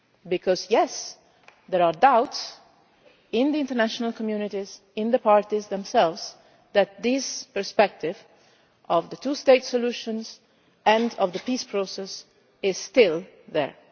Because yes, there are doubts in the international communities, in the parties themselves, that this perspective of the two state solution and of the peace process is still there.